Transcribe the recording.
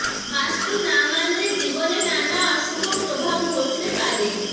বাস্তু না মানলে জীবনে নানা অশুভ প্রভাব ঘটতে পারে